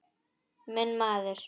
Minn maður!